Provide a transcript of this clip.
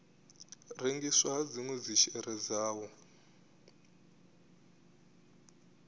rengisiwa ha dzinwe dzishere dzawo